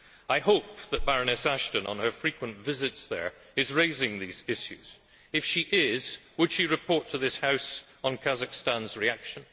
I hope that Baroness Ashton, on her frequent visits there, is raising these issues. If she is, would she report to this House on Kazakhstan's reaction?